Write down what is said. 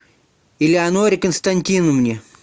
элеоноре константиновне